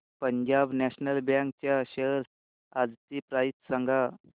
Punjab national bank च्या shares आजची price सांगा